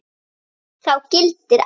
Þá gildir að